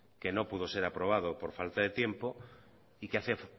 que no pudo ser aprobado por falta de tiempo y que hace